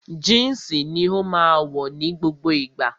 Jínsì ni ó máa wọ̀ ní gbogbo ìgbà